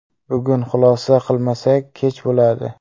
Bugun xulosa qilmasak kech bo‘ladi.